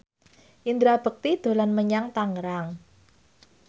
Indra Bekti dolan menyang Tangerang